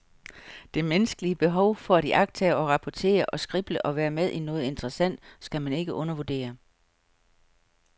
Det menneskelige behov for at iagttage og rapportere og skrible og være med i noget interessant skal man ikke undervurdere.